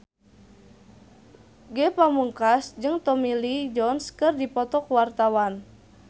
Ge Pamungkas jeung Tommy Lee Jones keur dipoto ku wartawan